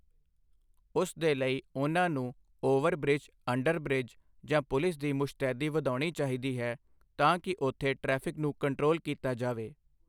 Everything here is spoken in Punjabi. ਉਸ ਦੇ ਲਈ ਉਹਨਾਂ ਨੂੰ ਉਵਰਬ੍ਰਿਜ ਅੰਡਰਬ੍ਰਿਜ ਜਾਂ ਪੁਲਿਸ ਦੀ ਮੁਸ਼ਤੈਦੀ ਵਧਾਉਣੀ ਚਾਹੀਦੀ ਹੈ ਤਾਂ ਕਿ ਉੱਥੇ ਟ੍ਰੈਫਿਕ ਨੂੰ ਕੰਟਰੋਲ ਕੀਤਾ ਜਾਵੇ।